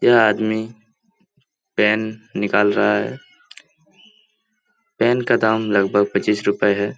यह आदमी पेन निकाल रहा है पेन का दाम लगभग पच्चीस रुपये है।